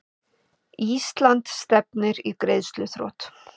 Ísland stefnir í greiðsluþrot